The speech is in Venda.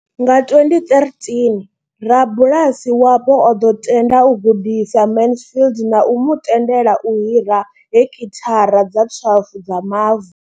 Nga 2013, rabulasi wapo o ḓo tenda u gudisa Mansfield na u mu tendela u hira heki thara dza 12 dza mavu.